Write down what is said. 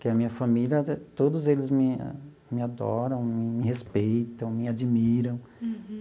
Que a minha família, todos eles me me adoram, me respeitam, me admiram.